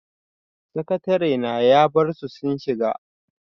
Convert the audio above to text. Sakatarena ya barsu sun shiga.